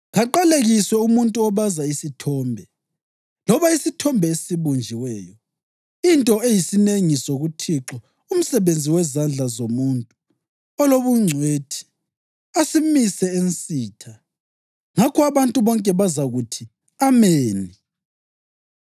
‘Kaqalekiswe umuntu obaza isithombe loba isithombe esibunjiweyo, into eyisinengiso kuThixo, umsebenzi wezandla zomuntu olobungcwethi, asimise ensitha.’ Ngakho abantu bonke bazakuthi, ‘Ameni!’